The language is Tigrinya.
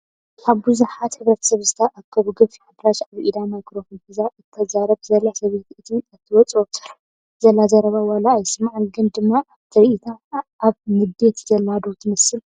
ኣብ ብዙሓት ሕብረተሰብ ዝተኣከበሉ ገፊሕ ኣዳራሽ ኣብ ኢዳ ማይከሮፎን ሒዛ እትዛረብ ዘላ ሰበይቲ እቲ እተውፀኦ ዘላ ዘረባ ዋላ ኣይሰማዕ ግን ድማ ካብ ትሪኢታ ኣብ ንደት ዘላ ዶ ትመስል?